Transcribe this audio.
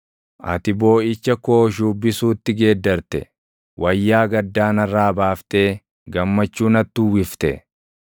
Ati booʼicha koo shuubbisuutti geeddarte; wayyaa gaddaa narraa baaftee gammachuu natti uwwifte;